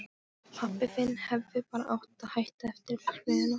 Pabbi þinn hefði bara átt að hætta eftir verksmiðjuna.